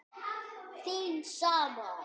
Þín sama